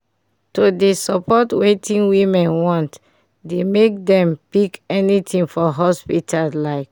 to de support wetin women want dey make dem pick anything for hospital like